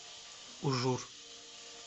ужур